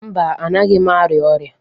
Mba, anaghị m arịa ọrịa.